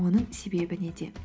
оның себебі неде